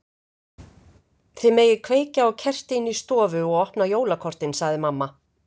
Þið megið kveikja á kerti inni í stofu og opna jólakortin sagði mamma.